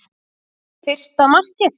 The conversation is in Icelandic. Fyrsta markið?